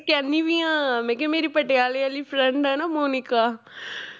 ਕਹਿਨੀ ਵੀ ਹਾਂ ਮੈਂ ਕਿਹਾ ਮੇਰੀ ਪਟਿਆਲੇ ਵਾਲੀ friend ਹੈ ਨਾ ਮੋਨਿਕਾ